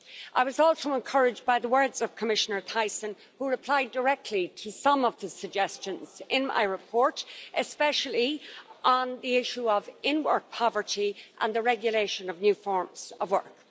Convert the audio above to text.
I was also encouraged by the words of Commissioner Thyssen, who replied directly to some of the suggestions in my report, especially on the issue of in-work poverty and the regulation of new forms of work.